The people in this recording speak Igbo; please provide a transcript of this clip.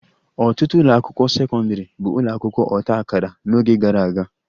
Ọtụtụ ụlọ akwụkwọ sekọndrị bụ ụlọ akwụkwọ ọta akara n'oge gara aga